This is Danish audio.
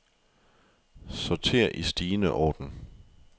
Sorter i stigende orden.